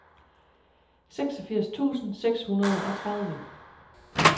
seksogfirs tusind seks hundrede og tredive